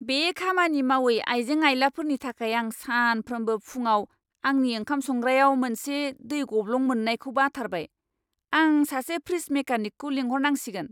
बे खामानि मावै आइजें आइलाफोरनि थाखाय आं सानफ्रोमबो फुंआव आंनि ओंखाम संग्रायाव मोनसे दै गब्लं मोननायखौ बाथारबाय! आं सासे फ्रिज मेकानिकखौ लिंहरनांसिगोन!